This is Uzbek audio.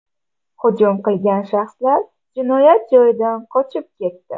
Hujum qilgan shaxslar jinoyat joyidan qochib ketdi.